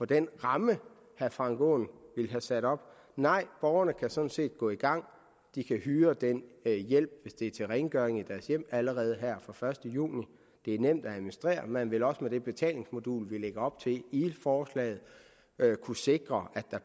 den ramme herre frank aaen har sat op nej borgerne kan sådan set gå i gang de kan hyre den hjælp hvis det er til rengøring af deres hjem allerede her fra første juni det er nemt at administrere man vil også med det betalingsmodul vi lægger op til i forslaget kunne sikre at der